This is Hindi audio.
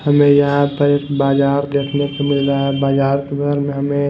हमें यहाँ पर बाजार देखने को मिल रहा है बाजार पर हमें--